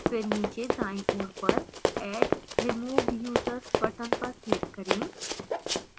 फिर नीचे दायीं ओर पर add/remove users button पर click करें